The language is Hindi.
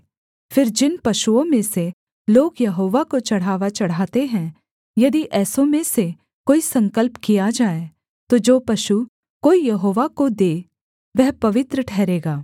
फिर जिन पशुओं में से लोग यहोवा को चढ़ावा चढ़ाते है यदि ऐसों में से कोई संकल्प किया जाए तो जो पशु कोई यहोवा को दे वह पवित्र ठहरेगा